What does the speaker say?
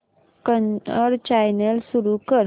Kannada channel सुरू कर